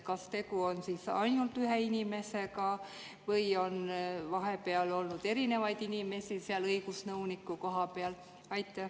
Kas tegu on ainult ühe inimesega või on vahepeal olnud erinevaid inimesi seal õigusnõuniku koha peal?